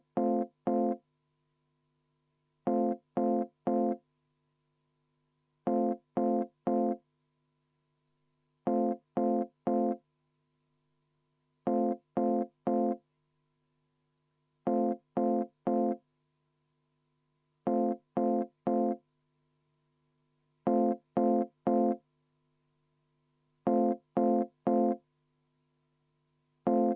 Palun Eesti Konservatiivse Rahvaerakonna fraktsiooni nimel panna see muudatusettepanek hääletusele.